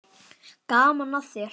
Gaman að þér!